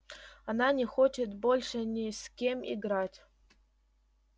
она не хочет больше ни с кем играть